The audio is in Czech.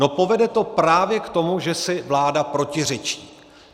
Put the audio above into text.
No, povede to právě k tomu, že si vláda protiřečí.